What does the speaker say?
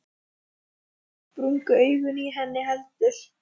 Og ekki sprungu augun í henni heldur.